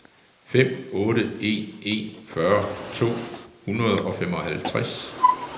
fem otte en en fyrre to hundrede og femoghalvtreds